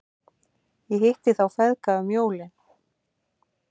Ég hitti þá feðga um jólin.